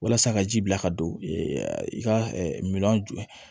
Walasa ka ji bila ka don i ka miliyɔn ju